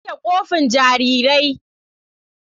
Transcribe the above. Na wanke kofin jarirai.